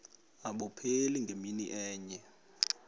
abupheli ngemini enye